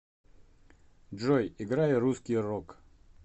джой играй русский рок